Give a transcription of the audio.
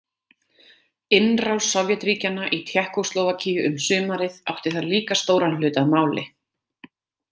Innrás Sovétríkjanna í Tékkóslóvakíu um sumarið átti þar líka stóran hlut að máli.